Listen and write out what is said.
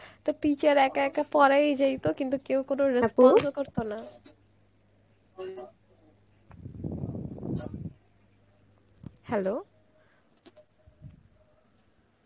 তো teacher একা একা পড়াই জয়িত কিন্তু কেউ কোনো ও করতো না, hello?